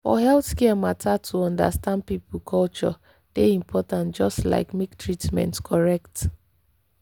for healthcare matter to understand people culture dey important just like make treatment correct.